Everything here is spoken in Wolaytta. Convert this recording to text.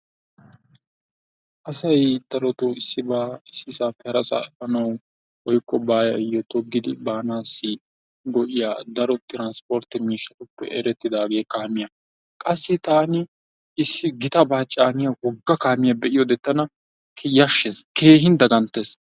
asay darotoo issibaa issisaappe harasaa efaanawu woykko baayo togidi baanawu go'iya daro tiranspportte miishshatuppe issoy kaamiya, qassi issi gitabaa caaniya woga kaamiiya be'iyode tana keehin yashsheesdqassi keehin dagantees .